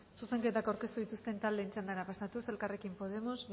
zuzenketak aurkeztu dituzten taldeen txandara pasatuz elkarrekin podemos